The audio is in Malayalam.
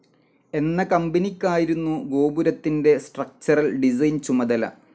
എന്ന കമ്പനിക്കായിരുന്നു ഗോപുരത്തിൻ്റെ സ്ട്രക്ചറൽ ഡിസൈൻ ചുമതല.